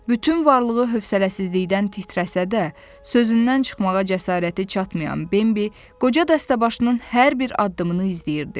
Bütün varlığı hövsələsizlikdən titrəsə də, sözündən çıxmağa cəsarəti çatmayan Bembi, qoca dəstəbaşının hər bir addımını izləyirdi.